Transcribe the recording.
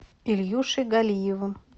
ильюшей галиевым